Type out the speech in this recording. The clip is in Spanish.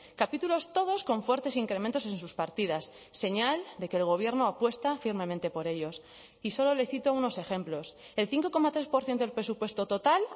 capítulos todos con fuertes incrementos en sus partidas señal de que el gobierno apuesta firmemente por ellos y solo le cito unos ejemplos el cinco coma tres por ciento del presupuesto total